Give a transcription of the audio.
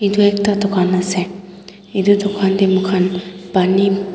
etu ekta dukhan ase etu dukhan dae moikhan pani--